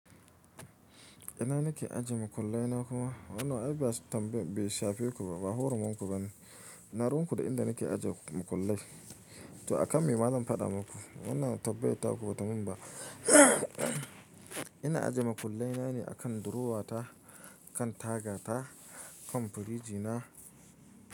Ina nake ajiye makullai na kuma? Wannan ai ba shafe ku ba, ba huruminku bane. Ina ruwa ku da inda nake ajiye makullai. To a kan me zan faɗa muku? Wannan tambar ta ku batamin ba. Ina ajiye makullai na ne a kan durowa ta, kan taga ta, kan firiji na.